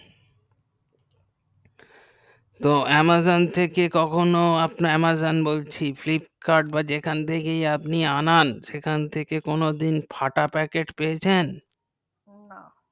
amazon থেকে কখনো amazon বলছি flipkart বা যেখান থেকে আনান সেখান থেকে কোনো দিন ফাটা প্যাকেট পেয়েছেন